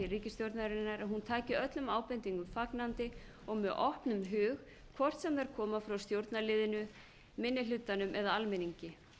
ríkisstjórnarinnar að hún taki öllum ábendingum fagnandi og með opnum hug hvort sem þær koma frá stjórnarliðinu minni hlutanum eða almenningi